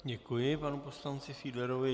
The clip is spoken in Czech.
Děkuji panu poslanci Fiedlerovi.